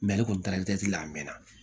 ale kɔni taara la a mɛnna